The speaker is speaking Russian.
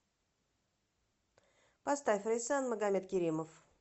поставь рейсан магомедкеримов